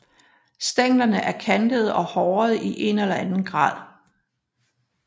Stænglerne er kantede og hårede i én eller anden grad